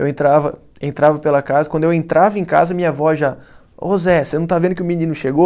Eu entrava, entrava pela casa, quando eu entrava em casa, minha avó já... Ô Zé, você não está vendo que o menino chegou?